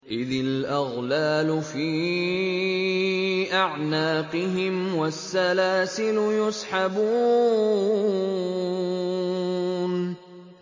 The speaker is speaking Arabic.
إِذِ الْأَغْلَالُ فِي أَعْنَاقِهِمْ وَالسَّلَاسِلُ يُسْحَبُونَ